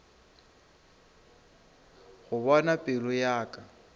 go bona pelo ya ka